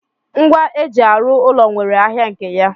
Ngwa eji arụ ụlọ nwere ahịa nke ya.